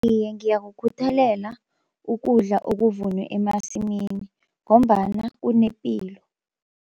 Iye ngiyakukhuthalela ukudla okuvunwe emasimini ngombana kunepilo.